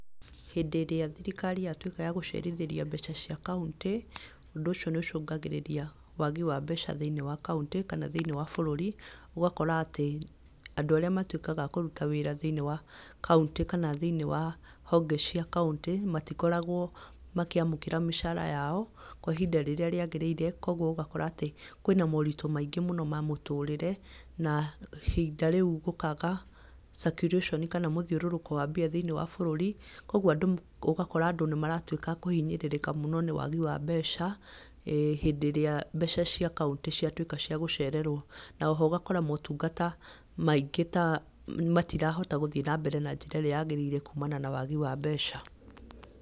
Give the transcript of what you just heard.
Hĩndĩ ĩrĩa thirirkari yatuĩka yagũcerithĩria mbeca cia kauntĩ, ũndũ ũcio nĩũcũngagĩrĩria wagi wa mbeca thĩinĩ wa kauntĩ, kana thĩinĩ wa bũrũri, ũgakora atĩ andũ arĩa matuĩkaga a kũruta wĩra thĩinĩ wa kauntĩ kana thĩinĩ wa honge cia kauntĩ, matikoragwo makĩamũkĩra mĩcara yao kwa ihinda rĩrĩa rĩagĩrĩre, koguo ũgakora atĩ kwĩna maũritũ maingĩ mũno ma mũtũrĩre na ihinda rĩu gũkaga cakiuraconi kana mũthiũrũrũko wa mbia thĩinĩ wa bũrũri, ũguo andũ ũgakora andũ nĩmaratuĩka akũhinyĩrĩrĩka mũno nĩ wagi wa mbeca, hĩndĩ ĩrĩa mbeca cia kauntĩ ciatuĩka ciagũcererwo, na oho ũgakora maũtungata maingĩ ta matirahota gũthiĩ na mbere na njĩra ĩrĩa yagĩrĩire kumana na wagi wa mbeca.